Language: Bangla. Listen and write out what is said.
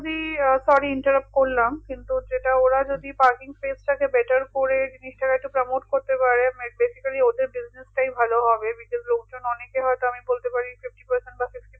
sorry interrupt করলাম কিন্তু যেটা ওরা যদি parking place টাকে better করে জিনিসটা একটু promote করতে পারে basically ওদের business টাই ভালো হবে because লোকজন অনেকে হয়তো আমি বলতে পারি fifty percent বা sixty